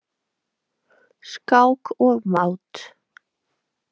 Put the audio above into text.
Skák og mát.